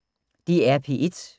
DR P1